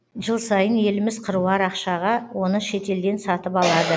жыл сайын еліміз қыруар ақшаға оны шетелден сатып алады